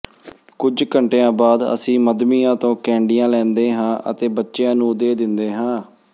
ਕੁੱਝ ਘੰਟਿਆਂ ਬਾਅਦ ਅਸੀਂ ਮੱਧਮੀਆਂ ਤੋਂ ਕੈਂਡੀਆਂ ਲੈਂਦੇ ਹਾਂ ਅਤੇ ਬੱਚਿਆਂ ਨੂੰ ਦੇ ਦਿੰਦੇ ਹਾਂ